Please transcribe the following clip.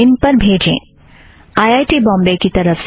IIT Bombay की तरफ़ से मैं नॆन्सी आप से विदा लेती हूँ